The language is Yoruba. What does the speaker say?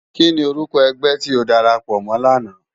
Kini órúkò ègbè ti ó dàrápò mò làná?